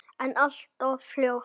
En allt of fljótt.